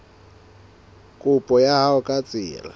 kopo ya hao ka tsela